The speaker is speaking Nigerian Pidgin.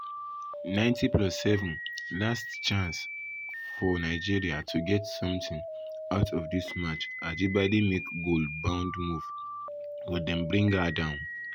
90+7 last chance chance um for nigeria to get something um out of dis match ajibade make goal bound move but dem bring her down.